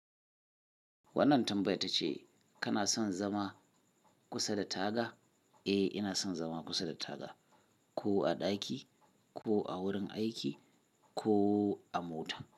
Wannan tambaya tace, kana son zama kusa da taga? Eh, ina son zama kusa da taga, ko a ɗaki, ko a wurin aiki, ko a mota.